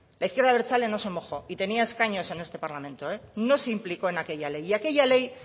la izquierda abertzale no se mojó y tenía escaños en este parlamento no se implicó en aquella ley y aquella ley